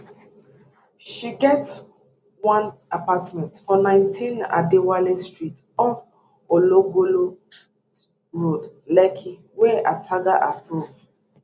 she get one apartment for 19 adewale street off ologolo road lekki wey ataga approve